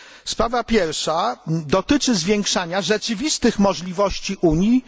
Sprawa pierwsza dotyczy zwiększania rzeczywistych możliwości Unii